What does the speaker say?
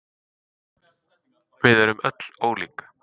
við erum öll ólík